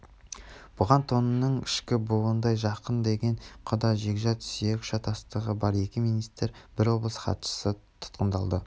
бұған тонның ішкі бауындай жақын деген құда-жекжат сүйек шатыстығы бар екі министр бір облыс хатшысы тұтқындалды